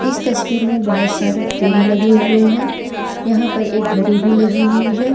इस तस्वीर में बहोत सारे फ्रेम लगे हुए हैं यहां पर एक घड़ी भी लगी हुई है।